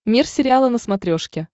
мир сериала на смотрешке